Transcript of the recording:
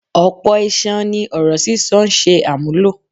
Ọ̀pọ̀ iṣan ni ọ̀rọ̀ sísọ ń ṣe àmúlò.